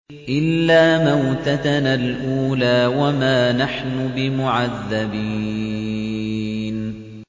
إِلَّا مَوْتَتَنَا الْأُولَىٰ وَمَا نَحْنُ بِمُعَذَّبِينَ